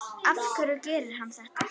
Af hverju gerir hann þetta?